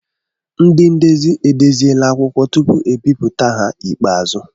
Ndị ndezi edeziela akwụkwọ tupu e bipụta ha ikpeazụ.